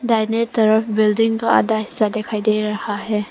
दाहिने तरफ बिल्डिंग आधा हिस्सा दिखाई दे रहा है।